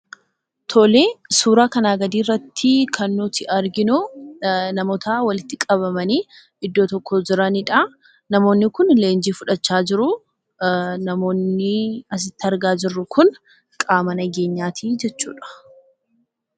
Tole suuraa kanaa gadii irratti kan nuti arginu, namoota walitti qabamanii iddoo tokko jiraniidha. Namoonni kun leenjii fudhachaa jiru. Namoonni asitti argaa jirru kun qaama nageenyaati jechuudha.